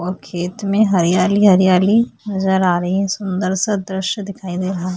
और खेत में हरियाली हरियाली नजर आ रही है सुंदर सा दृश्य दिखाई दे रहा है।